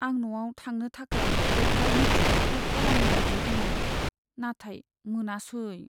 आं न'आव थांनो थाखाय तत्कालनि टिकेट बुक खालामनो नाजादोंमोन, नाथाय मोनासै।